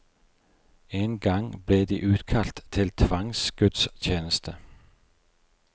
En gang ble de utkalt til tvangsgudstjeneste.